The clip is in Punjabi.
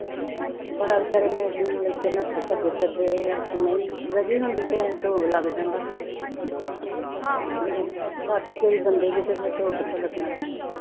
ਬੜਾ ਵਿਚਾਰੇ ਨੇ ਨਠੇ ਭੱਜਦੇ ਫਿਰਦੇ ਰਹੇ ਆ ਨਈ ਬਚਨੀ ਹੋਂਦੀ ਤੇ ਢੋ ਲਗ ਜਾਂਦਾ ਪਾਟੀ ਗਈ ਬੰਦੇ ਦੀ ਤੇ ਫੇਰ ਢੋ ਕਿਥੋਂ ਲਗਣਾ ਸੀਗਾ